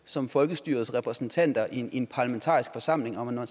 som folkestyrets repræsentanter i en parlamentarisk forsamling og når